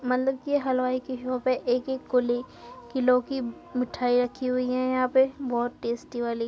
मतलब की हलवाई की शॉप है। एक एक कुली किलो की मिठाई रखी हुई हैं यहाँ पे बोहोत टेस्टी वाली।